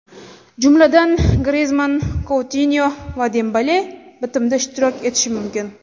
Jumladan, Grizmann, Koutinyo va Dembele bitimda ishtirok etishi mumkin.